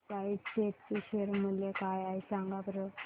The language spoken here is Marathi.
आज स्पाइस जेट चे शेअर मूल्य काय आहे सांगा बरं